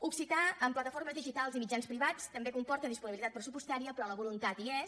occità en plataformes digitals i mitjans privats també comporta disponibilitat pressupostària però la voluntat hi és